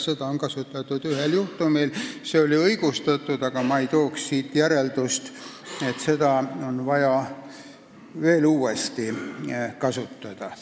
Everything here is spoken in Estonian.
Seda on kasutatud ühel juhtumil ja see oli õigustatud, aga ma ei teeks siit järeldust, et seda on vaja veel uuesti kasutada.